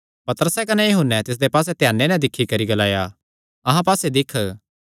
पतरसैं कने यूहन्ने तिसदे पास्से ध्याने नैं दिक्खी करी ग्लाया अहां पास्से दिक्ख